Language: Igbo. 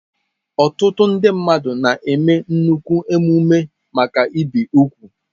Ọtụtụ ndị mmadụ na-eme nnukwu emume maka ibi úgwù.